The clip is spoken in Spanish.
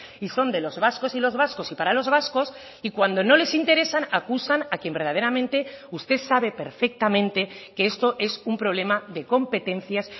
y son de los vascos y los vascos y para los vascos y cuando no les interesan acusan a quien verdaderamente usted sabe perfectamente que esto es un problema de competencias